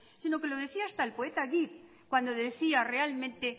sino que lo decía hasta el poeta git cuando decía realmente